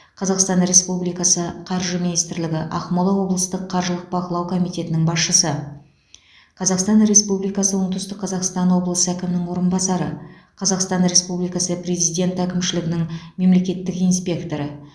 қазақстан республикасы қаржы министрлігі ақмола облыстық қаржылық бақылау комитетінің басшысы қазақстан республикасы оңтүстік қазақстан облысы әкімінің орынбасары қазақстан республикасы президент әкімшілігінің мемлекеттік инспекторы